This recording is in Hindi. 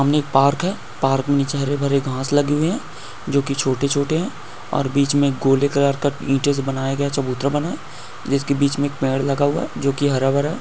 मम्मी पार्क है। पार्क में चेहरे भरे घास लगी हुई है जो कि छोटे-छोटे है और बीच में गोली कलर का इंटरेस्ट बनाया गया चबूतरा बनाएं है इसके बीच में एक पेड़ लगा हुआ है जो की हरा भरा।